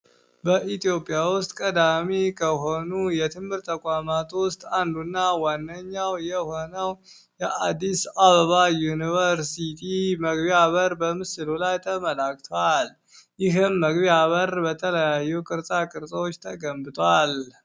በኢትዮጵያ ውስጥ ቀዳሚ ከሆኑ የትምር ተቋማቱ ውስጥ አንዱና ዋነኛው የሆነው የአዲስ አበባ ዩኒቨርሲቲ መግቢ በር በምስሉ ላይ ተመላክተዋል። ይህም መግቢያ በር በተለያዩ ቅርፃ ቅርፀዎች ተገንብቷል።